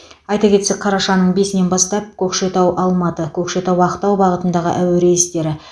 айта кетсек қарашаның бесінен бастап көкшетау алматы көкшетау ақтау бағытындағы әуе рейстері